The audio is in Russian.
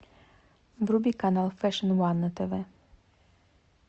вруби канал фэшн ван на тв